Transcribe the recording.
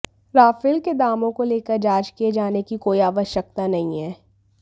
Rafale के दामों को लेकर जांच किए जाने की कोई आवश्यकता नहीं है